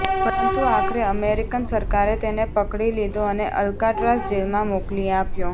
પરંતુ આખરે અમેરિકન સરકારે તેને પકડી લીધો અને અલ્કાટ્રાઝ જેલમાં મોકલી આપ્યો